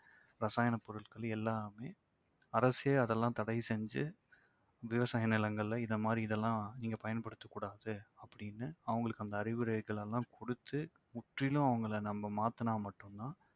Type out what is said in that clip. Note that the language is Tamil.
ரசாயன பொருட்கள் எல்லாமே அரசே அதெல்லாம் தடை செஞ்சு விவசாய நிலங்கள்ல இந்த மாதிரி இதெல்லாம் நீங்க பயன்படுத்தக் கூடாது அப்படின்னு அவங்களுக்கு அந்த அறிவுரைகலெல்லாம் குடுத்து முற்றிலும் அவங்கள நம்ம மாத்துனா மட்டும்தான்